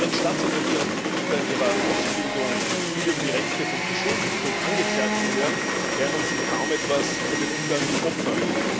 Während Staatsanwälte und Richter in ihrer Ausbildung viel über die Rechte von Beschuldigten und Angeklagten hören, lernen sie kaum etwas über den Umgang mit Opfern.